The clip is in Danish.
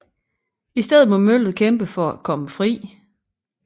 I stedet må møllet kæmpe for at komme fri